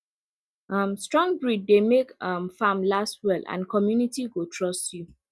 um strong breed dey make um farm last well and community go trust you